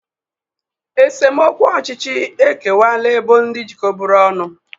Esemokwu ọchịchị ekewaala ebo ndị jikọburu ọnụ.